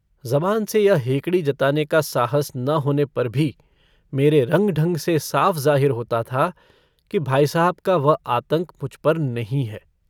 ज़बान से यह हेकड़ी जताने का साहस न होने पर भी मेरे रंग-ढंग से साफ ज़ाहिर होता था कि भाई साहब का वह आतंक मुझ पर नहीं है।